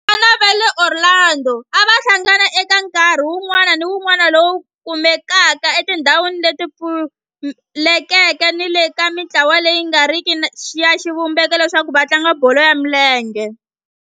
Vafana va le Orlando a va hlangana eka nkarhi wun'wana ni wun'wana lowu kumekaka etindhawini leti pfulekeke ni le ka mintlawa leyi nga riki ya xivumbeko leswaku va tlanga bolo ya milenge.